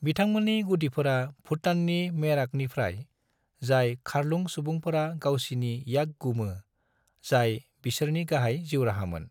बिथांमोननि गुदिफोरा भुटाननि मेराकनिफ्राय, जाय खारलुं सुबुंफोरा गावसिनि याक गुमो, जाय बेसोरनि गाहाय जिउराहामोन।